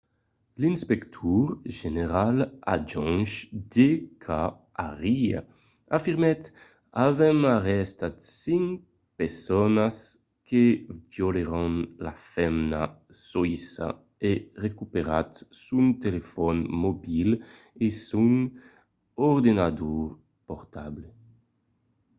l'inspector general adjonch d k arya afirmèt avèm arrestat cinc personas que violèron la femna soïssa e recuperat son telefòn mobil e son ordenador portable